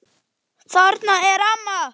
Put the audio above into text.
Fótatak barst frá berum iljum.